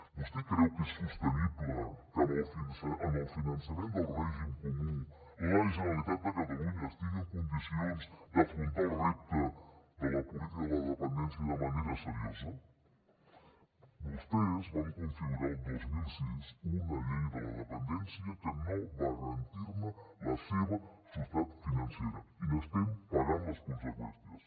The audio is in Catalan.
vostè creu que és sostenible que en el finançament del règim comú la generalitat de catalunya estigui en condicions d’afrontar el repte de la política de la dependència de manera seriosa vostès van configurar el dos mil sis una llei de la depen dència que no va garantir la seva sostenibilitat financera i n’estem pagant les conseqüències